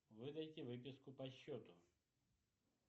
выдайте выписку по счету